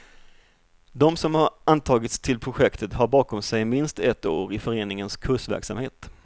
De som antagits till projektet har bakom sig minst ett år i föreningens kursverksamhet.